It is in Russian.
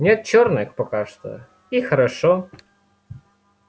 нет черных пока что и хорошо